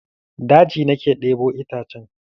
Daji na ke ɗebo itacen.